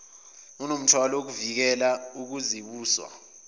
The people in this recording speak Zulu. unomthwalo wokuvikela ukuzibusa